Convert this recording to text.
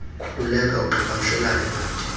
khululeka uqhagamshelane nathi